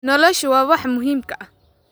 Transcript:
Noloshu waa waxa muhiimka ah.